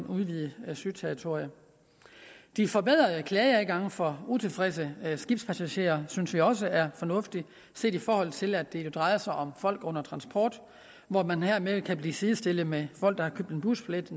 udvidet søterritoriet de forbedrede klageadgange for utilfredse skibspassagerer synes vi også er fornuftig set i forhold til at det drejer sig om folk under transport hvor man hermed kan blive sidestillet med folk der har køb en busbillet